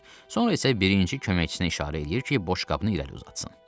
sonra isə birinci köməkçisinə işarə eləyir ki, boşqabını irəli uzatsın.